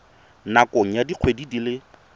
nakong ya dikgwedi di le